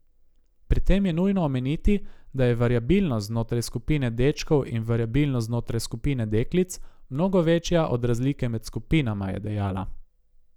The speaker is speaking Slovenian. Pri tem je nujno omeniti, da je variabilnost znotraj skupine dečkov in variabilnost znotraj skupine deklic mnogo večja od razlike med skupinama, je dejala.